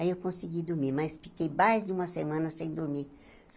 Aí eu consegui dormir, mas fiquei mais de uma semana sem dormir.